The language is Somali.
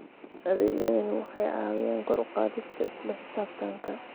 Adeegyadani waxay caawiyaan kor u qaadista isla xisaabtanka.